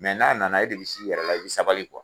n'a nana e de bi s'i yɛrɛ la i be sabali